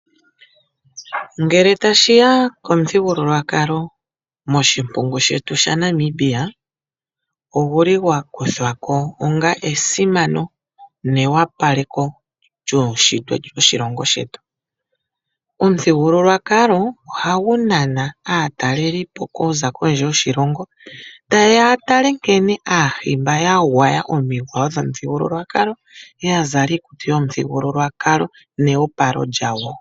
Ngele tashi ya komuthigululwakalo moshimpungu shetu shaNamibia, ogu li gwa kuthwa ko onga esimano neopaleko lyuunshitwe woshilongo shetu. Omuthigululwakalo ohagu nana aatalelipo okuza kondje yoshilongo taye ya ya tale nkene Aahimba ya gwaya omigwayo dhomuthigululwakalo, ya zala iikutu yomuthigululwakalo neyopalo lyawo.